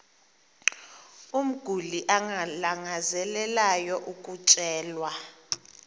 umguli alangazelelayo ukutyelelwa